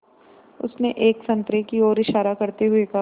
उसने एक संतरे की ओर इशारा करते हुए कहा